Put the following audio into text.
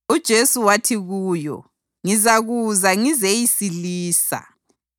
UJesu wathi kuyo, “Ngizakuza ngizeyisilisa.”